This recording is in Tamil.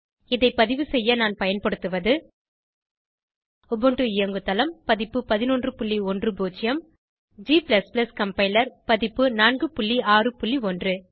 இதை பதிவுசெய்ய நான் பயன்படுத்துவது உபுண்டு இயங்குதளம் பதிப்பு 1110 g கம்பைலர் பதிப்பு 461